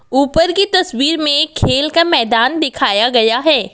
ऊपर की तस्वीर में एक खेल का मैदान दिखाया गया है।